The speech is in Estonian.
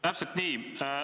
Täpselt nii.